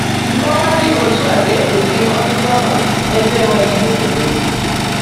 Nkowa dị otu a ga-ekpuchi ọtụtụ ọnọdụ ebe enweghị esemokwu.